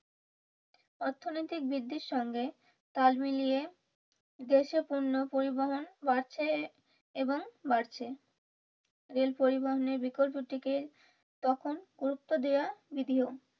অর্থনৈতিক বৃদ্ধির সঙ্গে তাল মিলিয়ে দেশীয় পণ্য পরিবহন বাড়ছে এবং বাড়ছে রেল পরিবহনের বিকল্পটিকে তখন গুরুত্ব দেওয়া বিধিও।